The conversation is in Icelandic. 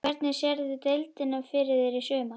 Hvernig sérðu deildina fyrir þér í sumar?